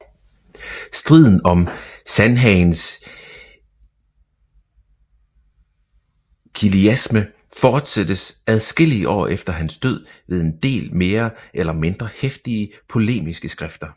Striden om Sandhagens kiliasme fortsattes adskillige år efter hans død ved en del mere eller mindre heftige polemiske skrifter